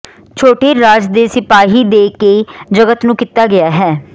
ਛੋਟੇ ਰਾਜ ਦੇ ਸਿਪਾਹੀ ਦੇ ਕੇ ਜਗਤ ਨੂੰ ਕੀਤਾ ਗਿਆ ਹੈ